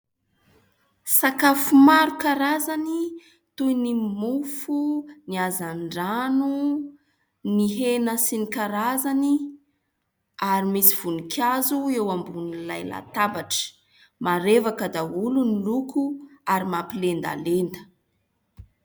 Sakafo maro karazany toy ny mofo, ny hazandrano, ny hena sy ny karazany ary misy voninkazo eo ambonin'ilay latabatra. Marevaka daholo ny loko ary mampilendalenda.